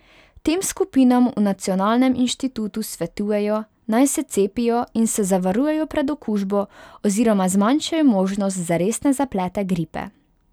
Tem skupinam v nacionalnem inštitutu svetujejo, naj se cepijo in se zavarujejo pred okužbo oziroma zmanjšajo možnost za resne zaplete gripe.